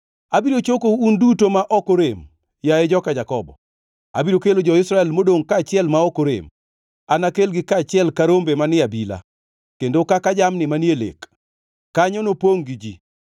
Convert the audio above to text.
“Abiro chokou un duto ma ok orem, yaye joka Jakobo; abiro kelo jo-Israel modongʼ kaachiel ma ok orem. Anakelgi kaachiel ka rombe manie abila, kendo kaka jamni manie lek. Kanyo nopongʼ gi ji.